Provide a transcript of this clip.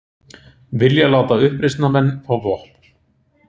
Vilja láta uppreisnarmenn fá vopn